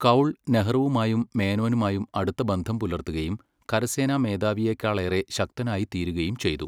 കൗൾ, നെഹ്റുവുമായും മേനോനുമായും അടുത്ത ബന്ധം പുലർത്തുകയും കരസേനാ മേധാവിയെക്കാളേറെ ശക്തനായി തീരുകയും ചെയ്തു.